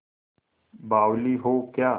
बावली हो क्या